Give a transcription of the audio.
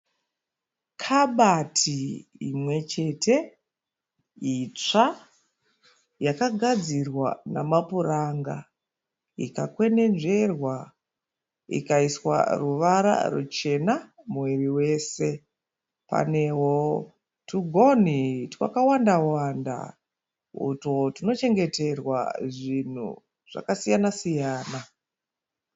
Kabati imwe chete itsva yakagadzirwa namapuranga ikakwenenzverwa ikaiswa ruvara ruchena muviri wese. Panewo tugonhi twakawanda wanda utwo twunochengeterwa zvinhu zvakasiyana siyana.